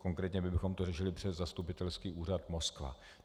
Konkrétně bychom to řešili přes zastupitelský úřad Moskva.